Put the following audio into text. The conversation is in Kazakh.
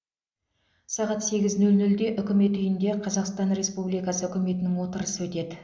сағат сегіз нөл нөлде үкімет үйінде қазақстан республикасы үкіметінің отырысы өтеді